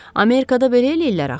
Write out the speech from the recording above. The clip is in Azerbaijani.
Amerikada belə eləyirlər axı.